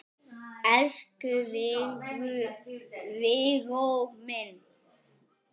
Elsku Viggó minn.